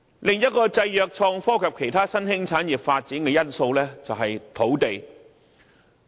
另一個限制了創科及其他新興產業發展的因素，就是土地。